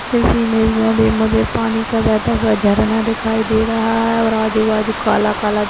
इस इमेज में मुझे पानी का बहता हुआ झरना दिखाई दे रहा है और आजु बाजु काला काला दि --